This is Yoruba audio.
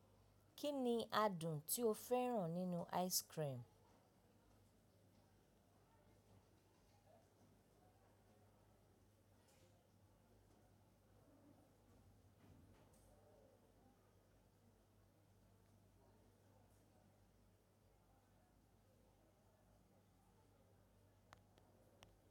Kí ni adùn tí ó fẹ́ràn nínú ice cream?